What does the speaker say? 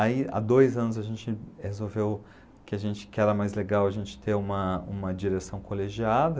Aí, há dois anos, a gente resolveu que a gente, que era mais legal a gente ter uma uma direção colegiada.